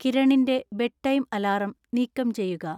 കിരണിന്‍റെ bedtime alarm നീക്കം ചെയ്യുക